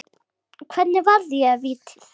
Hvernig varði ég vítið?